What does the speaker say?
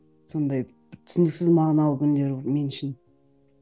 сондай түсініксіз мағыналы күндер мен үшін